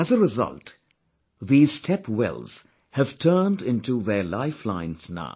As a result, these step wells have turned into their lifelines now